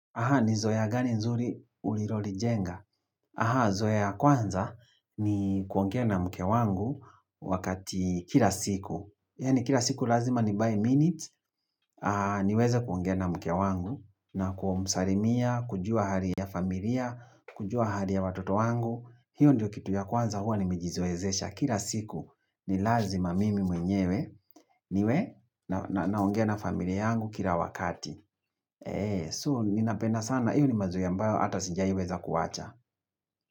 Aha, ni zoe ya gani nzuri uliroli jenga? Aha, zoe ya kwanza ni kuongea na mke wangu wakati kila siku. Yani kila siku lazima ni by minute niweze kuongea na mke wangu na kumsarimia, kujua hali ya familia, kujua hali ya watoto wangu. Hiyo ndio kitu ya kwanza huwa ni mijizoezesha. Kira siku ni lazima mimi mwenyewe niwe na ongea na familia yangu kila wakati. Eee suu ninapena sana iyo ni mazu yambayo hata sinjaiweza kuwacha.